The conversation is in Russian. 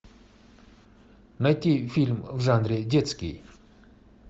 найти фильм в жанре детский